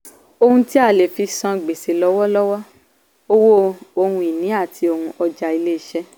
ohun tí a lè fí san gbèsè lọ́wọ́lọ́wọ́: owó ohun-ìní àti ohun ọjà ilé iṣẹ́.